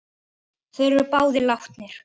Þeir eru báðir látnir.